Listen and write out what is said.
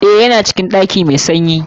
Eh, Ya na cikin ɗaki mai sanyi.